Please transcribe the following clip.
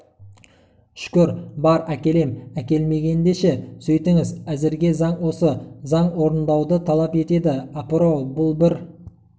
шүкір бар әкелем әкелмегеңде ше сөйтіңіз әзірге заң осы заң орындауды талап етеді апырау бұл бір